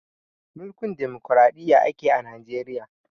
Mulkin dimukuraɗiyya ake a najeriya